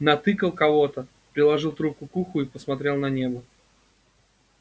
натыкал кого-то приложил трубку к уху посмотрел на небо